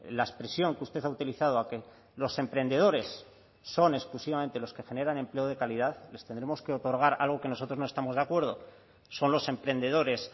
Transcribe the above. la expresión que usted ha utilizado a que los emprendedores son exclusivamente los que generan empleo de calidad les tendremos que otorgar algo que nosotros no estamos de acuerdo son los emprendedores